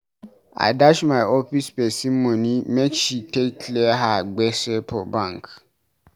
I dash my office pesin moni make she take clear her gbese for bank.